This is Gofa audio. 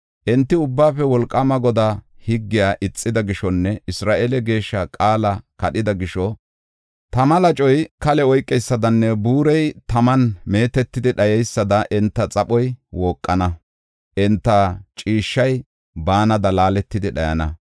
Enti Ubbaafe Wolqaama Godaa higgiya ixida gishonne Isra7eele Geeshshaa qaala kadhida gisho tama lacoy kale oykeysadanne buurey taman meetetidi dhayeysada enta xaphoy wooqana. Enta ciishshay baanada laaletidi dhayana.